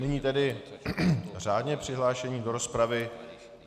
Nyní tedy řádně přihlášení do rozpravy.